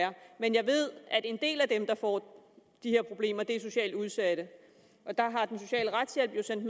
men jeg ved at en del af dem der får de her problemer er socialt udsatte og der har den sociale retshjælp jo sendt